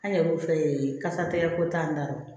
An yɛrɛ kun filɛ ee kasatigɛko t'an kɔrɔ